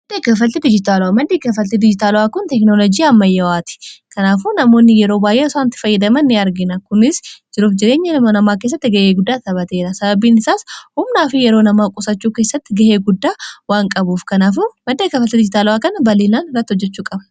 iimadd kafali dijitaalo'aa kun tekinolojii ammayyawaati kanaafu namoonni yeroo baayae saantti fayyidaman ni argina kunis jiruuf jireenya ilma namaa keessatti ga'ee guddaa tabateera sababiin isaas humnaa fi yeroo namaa qusachuu keessatti ga'ee guddaa waan qabuuf knmaddee kafali dijitaala'aa kan baliilaan ratti hojjechuu qaba